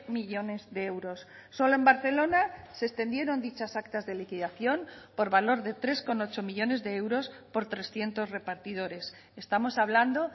millónes de euros solo en barcelona se extendieron dichas actas de liquidación por valor de tres coma ocho millónes de euros por trescientos repartidores estamos hablando